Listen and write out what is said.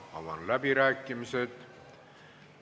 Avan läbirääkimised.